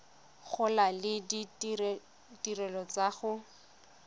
gola le ditirelo tsa go